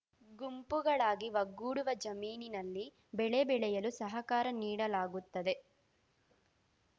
ಗುಂಪುಗಳಾಗಿ ಒಗ್ಗೂಡುವ ಜಮೀನಿನಲ್ಲಿ ಬೆಳೆ ಬೆಳೆಯಲು ಸಹಕಾರ ನೀಡಲಾಗುತ್ತದೆ